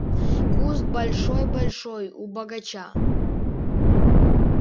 куст большой-большой у богача